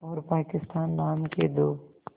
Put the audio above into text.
और पाकिस्तान नाम के दो